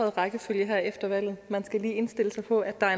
i rækkefølgen her efter valget man skal lige indstille sig på at der er